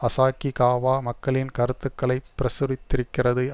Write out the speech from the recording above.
Asahikawa மக்களின் கருத்துக்களை பிரசுரித்திருக்கிறது